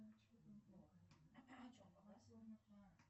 ну ты даешь